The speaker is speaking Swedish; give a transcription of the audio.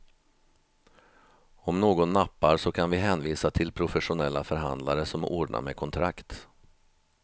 Om någon nappar så kan vi hänvisa till professionella förhandlare som ordnar med kontrakt.